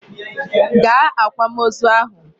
Gaa akwamozu ahụ!